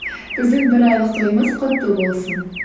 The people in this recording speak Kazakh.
біздің бір айлық тойымыз құтты болсын